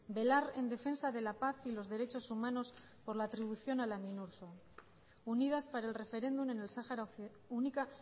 velar en defensa de la paz y los derechos humanos por la atribución a la minurso única